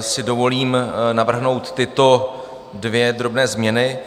si dovolím navrhnout tyto dvě drobné změny.